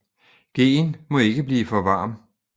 Gheen må ikke blive for varm